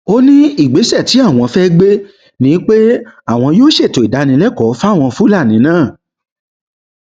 ó ní ìgbésẹ tí àwọn fẹẹ gbé ni pé àwọn yóò ṣètò ìdánilẹkọọ fáwọn fúlàní náà